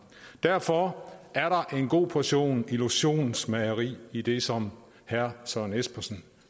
derfor er der en god portion illusionsmageri i det som herre søren espersen